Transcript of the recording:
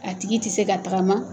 A tigi tɛ se ka tagama.